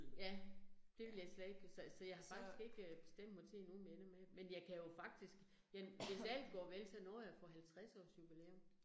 Ja, det vil jeg slet ikke, så så jeg har faktisk ikke øh bestemt mig til endnu, om jeg ender med, men jeg kan jo faktisk, ja hvis alt går vel, så når jeg at få 50 års jubilæum